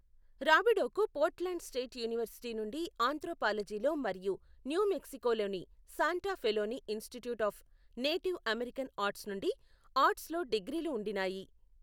రాబిడోకు Portland State University నుండి ఆంత్రోపాలజీలో మరియు న్యూ మెక్సికోలోని శాంటా ఫేలోని Institute of Native American Arts నుండి ఆర్ట్స్లో డిగ్రీలు ఉండినాయి.